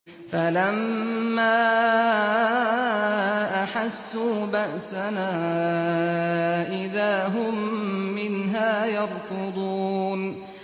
فَلَمَّا أَحَسُّوا بَأْسَنَا إِذَا هُم مِّنْهَا يَرْكُضُونَ